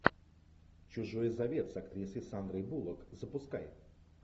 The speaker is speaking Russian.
чужой завет с актрисой сандрой буллок запускай